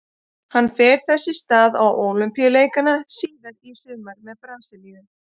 Hann fer þess í stað á Ólympíuleikana síðar í sumar með Brasilíu.